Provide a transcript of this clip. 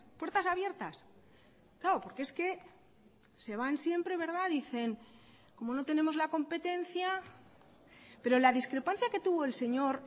puertas abiertas claro porque es que se van siempre dicen como no tenemos la competencia pero la discrepancia que tuvo el señor